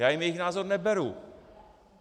Já jim jejich názor neberu.